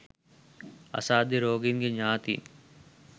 අසාධ්‍ය රෝගීන්ගේ ඥාතීන්